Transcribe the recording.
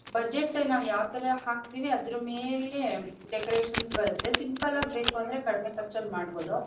Budget ನಾವು ಯಾವ ತರ ಹಾಕ್ತಿವಿ ಅದರ ಮೇಲೆ ಡೆಕೋರೇಷನ್ಸ್ ಬರುತ್ತೆ ಸಿಂಪಲ್ ಆಗಿ ಬೇಕು ಅಂದ್ರೆ ಕಡಿಮೆ ಖರ್ಚಲ್ಲಿ ಮಾಡಬೋದು.